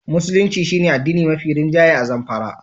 Musulunci shi ne addini mafi rinjaye a Zamfara.